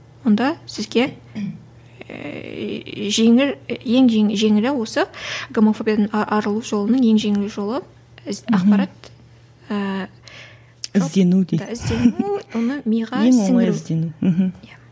онда сізге ііі жеңіл ең жеңілі осы гомофобиядан арылу жолының ең жеңіл жолы ақпарат ііі іздену дейді іздену оны миға сіңіру